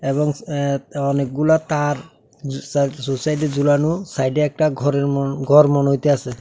এবং অ্যা অনেকগুলা তার জু সাই জু সাইডে ঝুলানো সাইডে একটা ঘরের ম ঘর মনে হইতাসে।